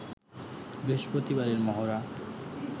বৃহস্পতিবারের মহড়া